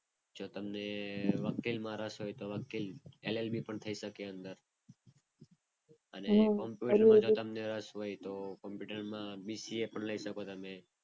જો તમને વકીલ માં રસ હોય તો વકીલ LLB પણ થઈ શકે. રસ હોય તો middle માં BCA પણ લઈ શકો તમે.